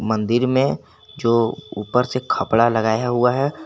मंदिर में जो ऊपर से खपड़ा लगाया हुआ है।